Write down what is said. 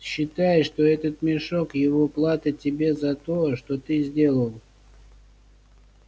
считай что этот мешок его плата тебе за то что ты сделал